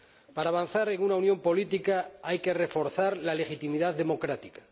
Para avanzar en una unión política hay que reforzar la legitimidad democrática.